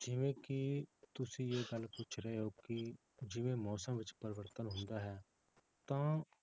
ਜਿਵੇਂ ਕਿ ਤੁਸੀਂ ਇਹ ਗੱਲ ਪੁੱਛ ਰਹੇ ਹੋ ਕਿ ਜਿਵੇਂ ਮੌਸਮ ਵਿੱਚ ਪਰਿਵਰਤਨ ਹੁੰਦਾ ਹੈ ਤਾਂ